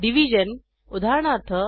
division उदाहरणार्थ